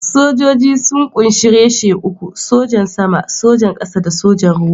Sojoji sun ƙunshi reshe uku: Sojan Sama, Sojan Ƙasa da Sojan Ruwa.